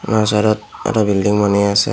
বাওঁ চাইডত এটা বিল্ডিং বনি আছে।